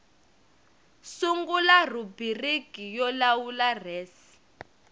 sungula rhubiriki yo lawula res